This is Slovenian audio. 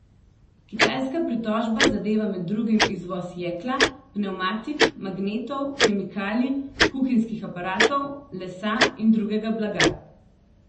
Kitajska pritožba zadeva med drugim izvoz jekla, pnevmatik, magnetov, kemikalij, kuhinjskih aparatov, lesa in drugega blaga.